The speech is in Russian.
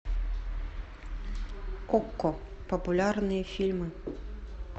окко популярные фильмы